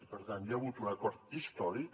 per tant hi ha hagut un acord històric